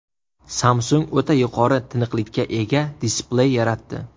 Samsung o‘ta yuqori tiniqlikka ega displey yaratdi.